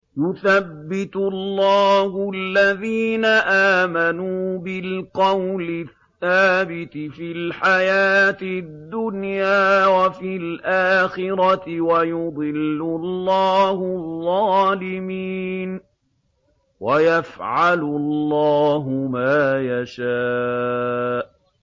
يُثَبِّتُ اللَّهُ الَّذِينَ آمَنُوا بِالْقَوْلِ الثَّابِتِ فِي الْحَيَاةِ الدُّنْيَا وَفِي الْآخِرَةِ ۖ وَيُضِلُّ اللَّهُ الظَّالِمِينَ ۚ وَيَفْعَلُ اللَّهُ مَا يَشَاءُ